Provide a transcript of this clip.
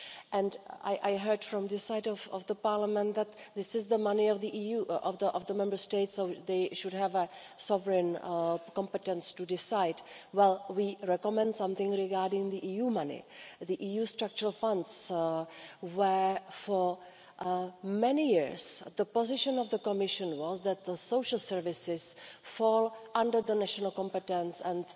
and I heard from this side of the Parliament that this is the money of the Member States, so they should have a sovereign the competence to decide. Well, we recommend something regarding the EU money, the EU structural funds, where for many years the position of the Commission was that the social services fall under the national competence and